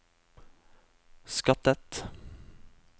skattet